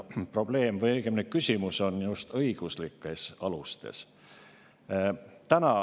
Probleem, õigemini küsimus on just õiguslikes alustes.